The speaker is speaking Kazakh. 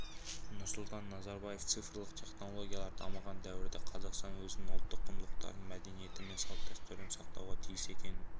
нұрсұлтан назарбаев цифрлық технологиялар дамыған дәуірде қазақстан өзінің ұлттық құндылықтарын мәдениеті мен салт-дәстүрін сақтауға тиіс екенін